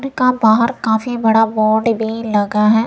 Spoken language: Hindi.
बाहर काफी बड़ा बोर्ड भी लगा है।